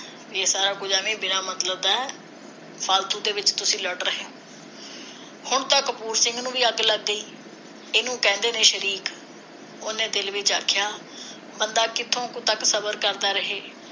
ਇਹ ਸਾਰਾ ਕੁਝ ਐਵੇਂ ਬਿਨਾਂ ਮਤਲਬ ਦਾ ਹੈ ਫਾਲਤੂ ਦੇ ਵਿਚ ਤੁਸੀ ਲੜ ਰਹੇ ਹੋ ਹੁਣ ਤਾਂ ਕਪੂਰ ਸਿੰਘ ਨੂੰ ਵੀ ਅੱਗ ਲੱਗ ਗਈ ਇਹਨੂਂ ਕਹਿੰਦੇ ਨੇ ਸ਼ਰੀਕ ਉਹਨੇ ਦਿਲ ਵਿਚ ਆਖਿਆ ਬੰਦਾ ਕਿਥੋਂ ਕਾ ਤੱਕ ਸਬਰ ਕਰਦਾ ਰਹੇ ਤਾਂ ਵੀ ਉਹ